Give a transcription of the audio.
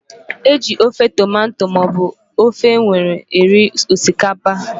E ji ofe tomato maọbụ ofe were eri osikapa